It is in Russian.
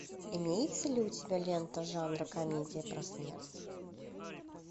имеется ли у тебя лента жанра комедия про смерть